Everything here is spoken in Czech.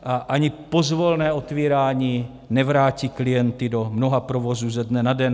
A ani pozvolné otvírání nevrátí klienty do mnoha provozů ze dne na den.